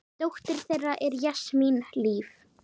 Dóttir þeirra er Jasmín Líf.